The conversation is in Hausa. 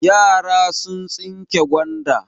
Yara sun tsinke gwanda.